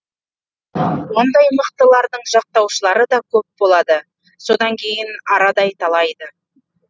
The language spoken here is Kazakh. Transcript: ондай мықтылардың жақтаушылары да көпболады содан кейін арадай талайды